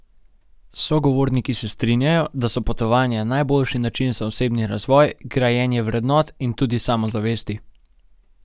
Sogovorniki se strinjajo, da so potovanja najboljši način za osebni razvoj, grajenje vrednot in tudi samozavesti.